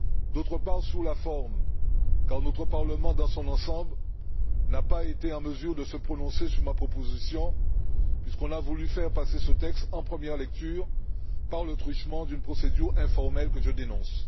D'autre part, sur la forme, notre Parlement dans son ensemble n'a pas été en mesure de se prononcer sur ma proposition puisqu'on a voulu faire passer ce texte en première lecture par le truchement d'une procédure informelle que je dénonce.